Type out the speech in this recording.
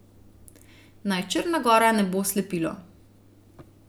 Naj Črna gora ne bo slepilo.